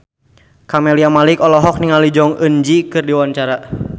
Camelia Malik olohok ningali Jong Eun Ji keur diwawancara